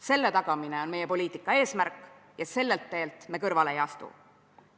Selle tagamine on meie poliitika eesmärk ja sellelt teelt me kõrvale ei astu.